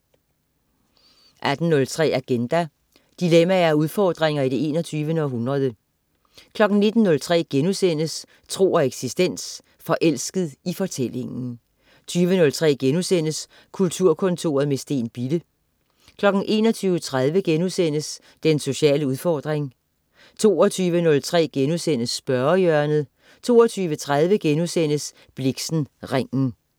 18.03 Agenda. Dilemmaer og udfordringer i det 21. århundrede 19.03 Tro og eksistens.* Forelsket i fortællingen 20.03 Kulturkontoret med Steen Bille* 21.30 Den sociale udfordring* 22.03 Spørgehjørnet* 22.30 Blixen: Ringen*